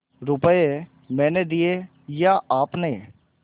रुपये मैंने दिये या आपने